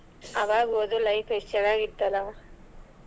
ಅವಾಗ್ ಓದು life ಎಷ್ಟ್ ಚನಾಗಿತ್ತಲ್ಲ.